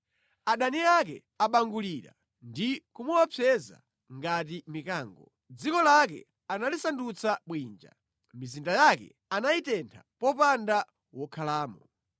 Adani ake abangulira ndi kumuopseza ngati mikango. Dziko lake analisandutsa bwinja; mizinda yake anayitentha popanda wokhalamo.